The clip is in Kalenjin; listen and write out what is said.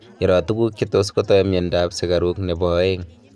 iroo toguk chetus kotai mianda ap sugaruk nepo aeng